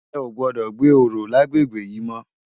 È ó gbòdò gbé óró làgbégbé yi mò